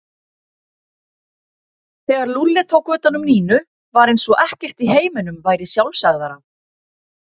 Þegar Lúlli tók utan um Nínu var eins og ekkert í heiminum væri sjálfsagðara.